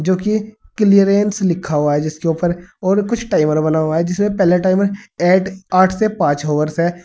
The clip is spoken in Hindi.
जो की क्लीयरेंस लिखा हुआ है जिसके ऊपर और कुछ टाइमर बना हुआ है जिसमें पहला टाइमर है ऐट आठ से पांच ऑवरस है।